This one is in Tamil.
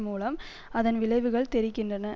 மூலம் அதன் விளைவுகள் தெரிக்கின்றன